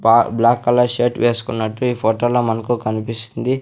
బా black colour shirt వేసుకున్నట్టు ఈ ఫోటోలో మనకు కన్పిస్తుంది.